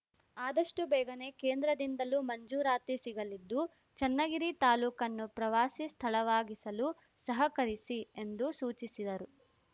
ಆದಷ್ಟುಬೇಗನೆ ಕೇಂದ್ರದಿಂದಲೂ ಮಂಜೂರಾತಿ ಸಿಗಲಿದ್ದು ಚನ್ನಗಿರಿ ತಾಲೂಕನ್ನು ಪ್ರವಾಸಿ ಸ್ಥಳವಾಗಿಸಲು ಸಹಕರಿಸಿ ಎಂದು ಸೂಚಿಸಿದರು